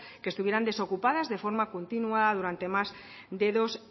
que estuvieran desocupadas de forma continuada durante más de dos